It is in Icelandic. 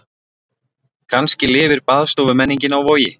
Kannski lifir baðstofumenningin á Vogi.